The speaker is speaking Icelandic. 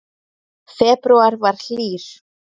Febrúar var hlýr